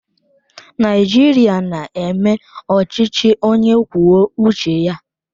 Naijiria na-eme ọchịchị onye kwuo uche ya.